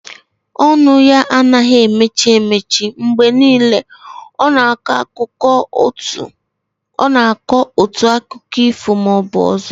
Ọnụ ya anaghị eme mechi, mgbe niile ọ nọ na akọ otu akiko ifo maọbụ ọzọ